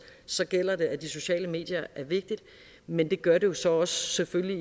så gælder det at de sociale medier er vigtige men det gør det jo så selvfølgelig